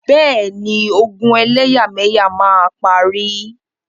Bẹ́ẹ̀ni, ogun ẹlẹ́yàmẹyà máa parí.